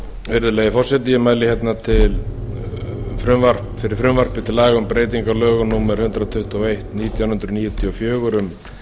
virðulegi forseti ég mæli hérna fyrir frumvarpi til laga um breytingu á lögum númer hundrað tuttugu og eitt nítján hundruð níutíu og fjögur um